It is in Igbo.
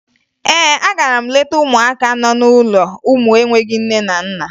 Ee, agara m leta ụmụaka n'ụlọ ụmụ enweghi nne na nna